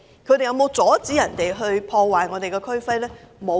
他們有否阻止暴徒破壞我們的區徽呢？